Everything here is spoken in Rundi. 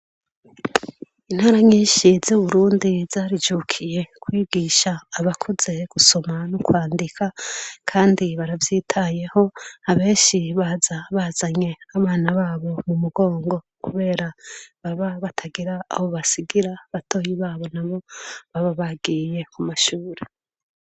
Intara nyinshi z'Uburundi zarijukiye kwigisha abakuze gusoma no kwandika; kandi baravyitayeho, abenshi baza bazanye abana babo mu mugongo kubera baba batagira aho basigira. Batoyi babo nabo baba bagiye ku mashuri.